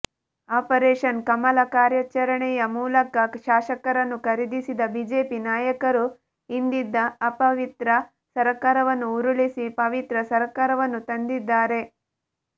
operation Kamala ಕಾರ್ಯಾಚರಣೆಯ ಮೂಲಕ ಶಾಸಕರನ್ನು ಖರೀದಿಸಿದ ಬಿಜೆಪಿ ನಾಯಕರು ಹಿಂದಿದ್ದ ಅಪವಿತ್ರ ಸರ್ಕಾರವನ್ನು ಉರುಳಿಸಿ ಪವಿತ್ರ ಸರ್ಕಾರವನ್ನು ತಂದಿದ್ದಾರೆ